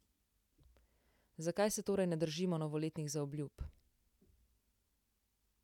Zakaj se torej ne držimo novoletnih zaobljub?